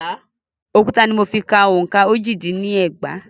Òkúta ni mo fi ka òǹkà ojì-dín-ní ẹgbàá.